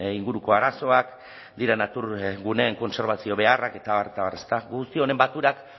inguruko arazoak dira naturaguneen kontserbazio beharrak eta abar eta abar ezta guzti honen baturak